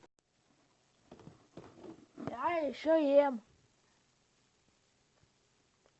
я еще ем